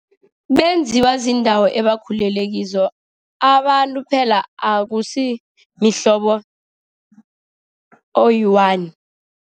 Benziwa ziindawo abakhulele kizo, abantu phela akusi mhlobo oyi-one.